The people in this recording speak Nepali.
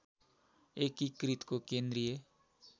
एकीकृतको केन्द्रीय